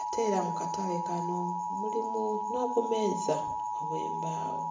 ate era mu katale kano mulimu n'obumeeza obw'embaawo.